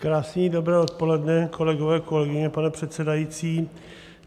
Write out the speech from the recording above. Krásné dobré odpoledne, kolegyně, kolegové, pane předsedající.